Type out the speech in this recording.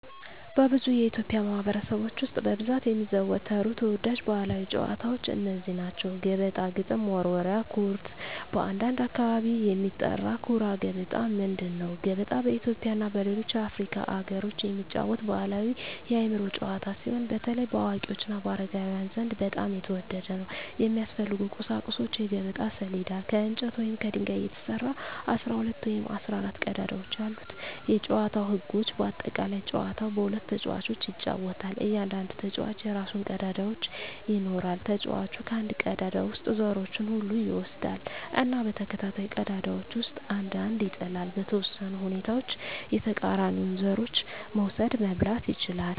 በብዙ የኢትዮጵያ ማኅበረሰቦች ውስጥ በብዛት የሚዘወተሩ ተወዳጅ ባሕላዊ ጨዋታዎች እነዚህ ናቸው፦ ገበጣ ግጥም መወርወሪያ / ኩርት (በአንዳንድ አካባቢ የሚጠራ) ኩራ ገበጣ ምንድን ነው? ገበጣ በኢትዮጵያ እና በሌሎች የአፍሪካ አገሮች የሚጫወት ባሕላዊ የአእምሮ ጨዋታ ሲሆን፣ በተለይ በአዋቂዎች እና በአረጋውያን ዘንድ በጣም የተወደደ ነው። የሚያስፈልጉ ቁሳቁሶች የገበጣ ሰሌዳ: ከእንጨት ወይም ከድንጋይ የተሰራ፣ 12 ወይም 14 ቀዳዳዎች ያሉት የጨዋታው ህጎች (በአጠቃላይ) ጨዋታው በሁለት ተጫዋቾች ይጫወታል። እያንዳንዱ ተጫዋች የራሱን ቀዳዳዎች ይኖራል። ተጫዋቹ ከአንድ ቀዳዳ ውስጥ ዘሮቹን ሁሉ ይወስዳል እና በተከታታይ ቀዳዳዎች ውስጥ አንድ አንድ ይጥላል። . በተወሰኑ ሁኔታዎች የተቃራኒውን ዘሮች መውሰድ (መብላት) ይችላል።